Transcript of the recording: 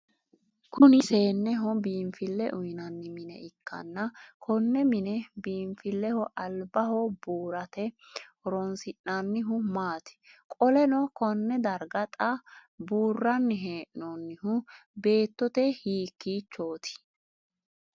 Kunni seeneho biinfile uyinnanni mine ikanna Konne mine biinfileho albaho buurate horoonsi'noonnihu maati? Qoleno konne darga xa buuranni hee'noonnihu beettote hiikiichooti?